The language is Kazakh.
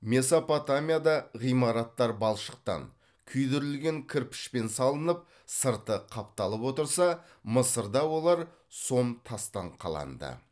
месопотамияда ғимараттар балшықтан күйдірілген кірпішпен салынып сырты қапталып отырса мысырда олар сом тастан қаланды